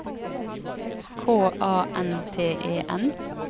K A N T E N